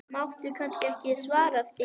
Máttu kannski ekki svara því?